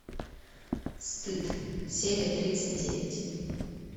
стыд серия тридцать девять